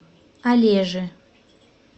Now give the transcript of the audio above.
олежи